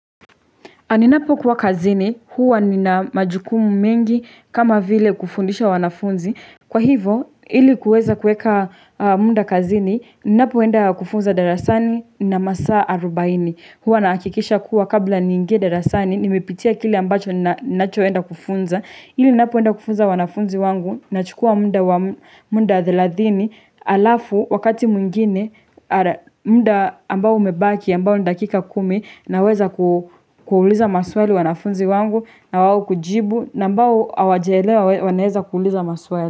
Ninapo kuwa kazini, huwa nina majukumu mengi kama vile kufundisha wanafunzi. Kwa hivo, ili kuweza kueka muda kazini, ninapoenda kufunza darasani nna masaa arubaini. Huwa nahakikisha kuwa kabla niingie darasani, nimepitia kile ambacho ninachoenda kufunza. Ili ninapoenda kufunza wanafunzi wangu nachukua muda wa muda thelathini alafu wakati mwengine muda ambao umebaki ambao ni dakika kumi naweza kuuliza maswali wanafunzi wangu na wao kujibu na ambao hawajaelewa wanaeza kuuliza maswali.